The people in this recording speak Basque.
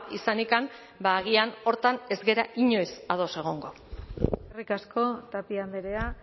izanikan agian horretan ez gara inoiz ados egongo eskerrik asko tapia andrea